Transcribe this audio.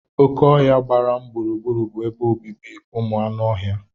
Oké ọhia gbara m gburugburu bụ ebe obibi ụmụ anụ ọhịa.